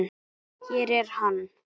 Hér er hann.